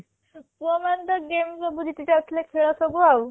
ପୁଅ ମାନେ ତ game ସବୁ ଜିତି ଯାଉଥିଲେ ଖେଳ ସବୁ ଆଉ